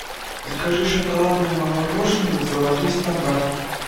закажи шоколадное мороженое золотой стандарт